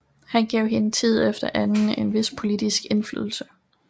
Han gav hende tid efter anden en vis politisk indflydelse